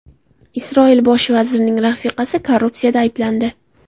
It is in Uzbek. Isroil bosh vazirining rafiqasi korrupsiyada ayblandi.